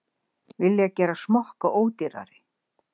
Vilja gera smokka ódýrari